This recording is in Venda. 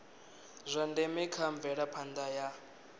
zwa ndeme kha mvelaphanda ya